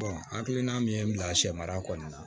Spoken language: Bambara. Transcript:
hakilina min ye n bila sɛ mara kɔɔna na